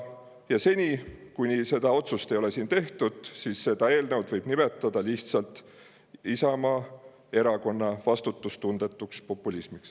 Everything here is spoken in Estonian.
Ja seni, kui seda otsust ei ole tehtud, võib seda eelnõu nimetada lihtsalt Isamaa Erakonna vastutustundetuks populismiks.